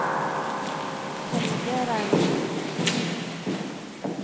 Helge Reiersen